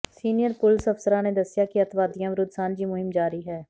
senior police ਅਫਸਰਾਂ ਨੇ ਦੱਸਿਆ ਕਿ ਅਤਿਵਾਦੀਆਂ ਵਿਰੁੱਧ ਸਾਂਝੀ ਮੁਹਿੰਮ ਜਾਰੀ ਹੈ